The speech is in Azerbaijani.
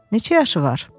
Neçə yaşı var?